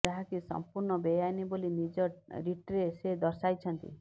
ଯାହାକି ସଂପୂର୍ଣ୍ଣ ବେଆଇନ୍ ବୋଲି ନିଜ ରିଟ୍ରେ ସେ ଦର୍ଶାଇଛନ୍ତି